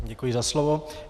Děkuji za slovo.